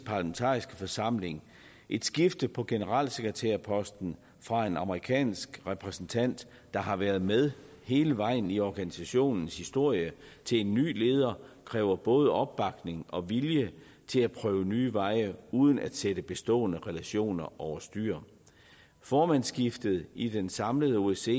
parlamentariske forsamling et skifte på generalsekretærposten fra en amerikansk repræsentant der har været med hele vejen i organisationens historie til en ny leder kræver både opbakning og vilje til at prøve nye veje uden at sætte bestående relationer over styr formandsskiftet i den samlede osce